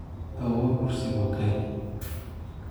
Awoowe kursi buu keenay